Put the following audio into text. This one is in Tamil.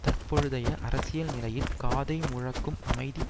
தற்பொழுதைய அரசியல் நிலையில் காதை முழக்கும் அமைதி